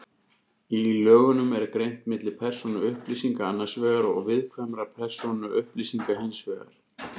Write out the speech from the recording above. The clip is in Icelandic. Í lögunum er greint milli persónuupplýsinga annars vegar og viðkvæmra persónuupplýsinga hins vegar.